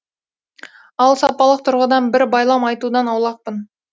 ал сапалық тұрғыдан бір байлам айтудан аулақпын